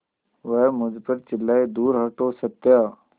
वह मुझ पर चिल्लाए दूर हटो सत्या